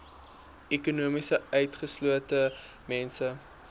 ekonomies utgeslote mense